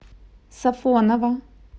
сафоново